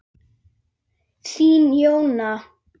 Þín Jóna.